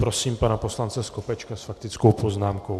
Prosím pana poslance Skopečka s faktickou poznámkou.